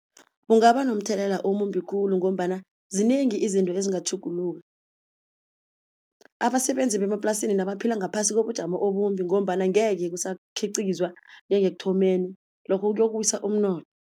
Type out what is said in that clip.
Kungaba nomthelela omumbi khulu ngombana zinengi izinto ezingatjhuguluka, abasebenzi bemaplasini nabaphila ngaphasi kobujamo obumbi ngombana ngeke kusakhiqizwa njengekuthomeni lokho kuyokuwisa